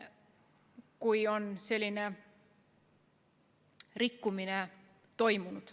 Siim Pohlak, palun!